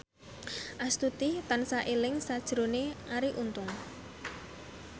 Astuti tansah eling sakjroning Arie Untung